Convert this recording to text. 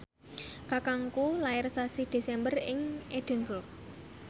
kakangku lair sasi Desember ing Edinburgh